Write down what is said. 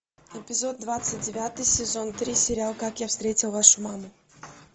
эпизод двадцать девятый сезон три сериал как я встретил вашу маму